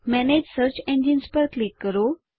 manage search engines પર click કરો